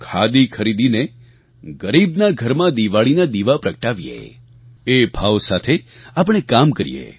ખાદી ખરીદીને ગરીબના ઘરમાં દિવાળીના દીવા પ્રગટાવીયે એ ભાવ સાથે આપણે કામ કરીએ